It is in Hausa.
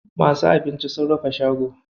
Masu abincin sun rufe shago.